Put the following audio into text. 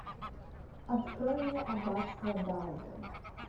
открой мне аббатство даунтон